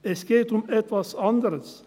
Es geht um etwas anderes: